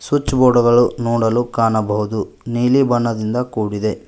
Switch board ಗಳು ನೋಡಲು ಕಾಣಬಹುದು ನೀಲಿ ಬಣ್ಣದಿಂದ ಕೂಡಿದೆ.